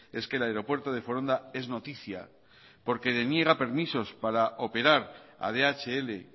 es que el aeropuerto de foronda es noticia porque deniega permisos para operar a dhl